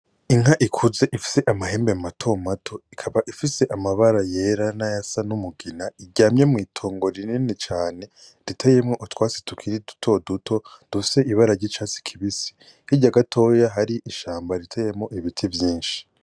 Inka ikuze ifise amahembe mato mato ikaba ifise amabara yera n'ayasa n'umugina iryamye mw'itongo rinini cane riteyemo utwatsi tukiri duto duto dufise ibara ry'icatsi kibisi. Hirya gatoya hari ishamba riteyemwo ibiti vyinshi.